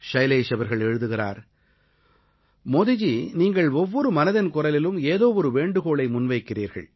ஷைலேஷ் அவர்கள் எழுதுகிறார் மோதிஜி நீங்கள் ஒவ்வொரு மனதின் குரலிலும் ஏதோ ஒரு வேண்டுகோளை முன்வைக்கிறீர்கள்